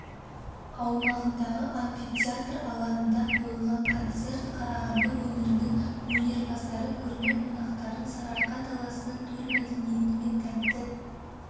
аумағындағы амфитеатр алаңында қойылған концерт қарағанды өңірінің өнерпаздары көрме қонақтарын сарыарқа даласының төл мәдениетімен тәнті